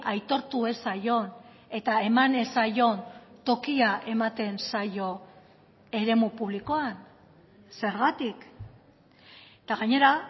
aitortu ez zaion eta eman ez zaion tokia ematen zaio eremu publikoan zergatik eta gainera